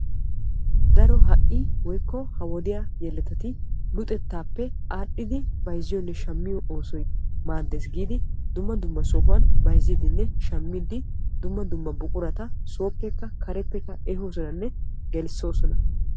Daro ha'i woykko ha wodiyaa yeletati luxettaappe aadhdhidi bayzziyoonne shammiyoo oosoy maaddes giidi dumma dumma sohuwaan bayzziidinne shammiidi dumma dumma buqurata sooppekka kareppekka ehoosonanne gelissoosona.